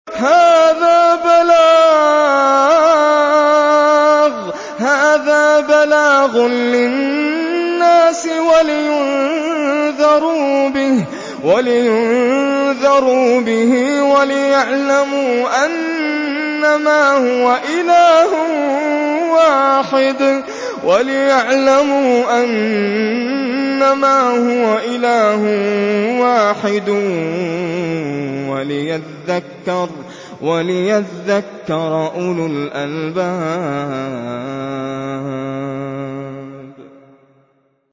هَٰذَا بَلَاغٌ لِّلنَّاسِ وَلِيُنذَرُوا بِهِ وَلِيَعْلَمُوا أَنَّمَا هُوَ إِلَٰهٌ وَاحِدٌ وَلِيَذَّكَّرَ أُولُو الْأَلْبَابِ